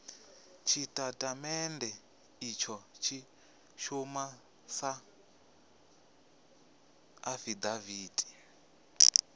tshitatamennde itsho tshi shuma sa afidaviti